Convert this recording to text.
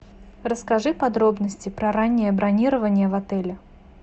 расскажи подробности про раннее бронирование в отеле